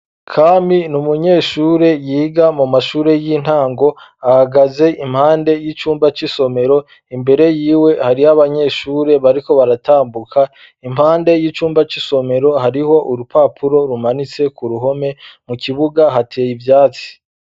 Kami ni umunyeshure yiga mu mashure y'intango ,ahagaze impande y'icumba c'isomero ,imbere y'iwe hariho abanyeshure bariko baratambuka, impande y'icumba c'isomero hariho urupapuro rumanitse ku ruhome, mu kibuga hateye ivyatsi.